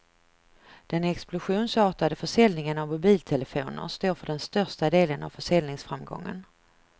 Den explosionsartade försäljningen av mobiltelefoner står för den största delen av försäljningsframgången.